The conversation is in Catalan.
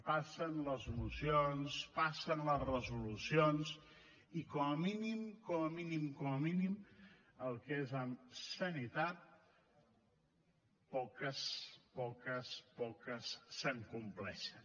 passen les mocions passen les resolucions i com a mínim com a mínim com a mínim el que és amb sanitat poques poques poques se’n compleixen